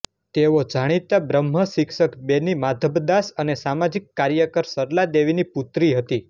તેઓ જાણીતા બ્રહ્મ શિક્ષક બેની માધબદાસ અને સામાજિક કાર્યકર સરલા દેવીની પુત્રી હતી